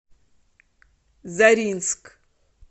заринск